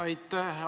Aitäh!